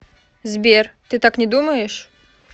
сбер ты так не думаешь